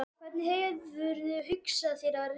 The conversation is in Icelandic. Hvernig hefurðu hugsað þér að verða ríkur?